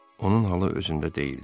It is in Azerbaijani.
Onun halı özündə deyildi.